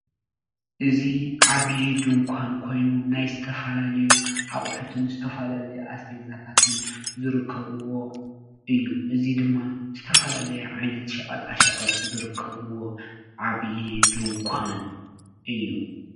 እዚ ዓብዪ ድንኳን ኮይኑ ናይ ዝተፈላለዩ ኣቑሑትን ዝተፈላለዩ ኣስቤዛታትን ዝርከብዎ እዩ፡፡ እዚ ድማ ዝተፈላለየ ዓይነት ሸቐጣ ሸቐጥ ዝርከብዎ ዓብይ ድንኳን እዩ፡፡